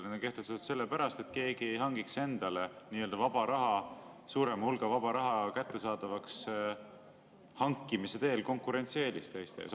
Need on kehtestatud sellepärast, et keegi ei hangiks endale nii-öelda suuremat hulka vaba raha, konkurentsieelist teiste ees.